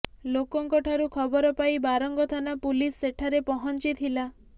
ଲୋକଙ୍କ ଠାରୁ ଖବରପାଇ ବାରଙ୍ଗ ଥାନା ପୁଲିସ ସେଠାରେ ପହଞ୍ଚିଥିଲା